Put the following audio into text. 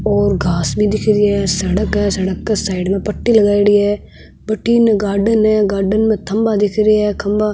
और घास भी दिख रही है सड़क है सड़क के साइड में पट्टी लगाईडा है बठन गाडर्न सा गार्डन में खम्भा दिख रहे है खम्भा --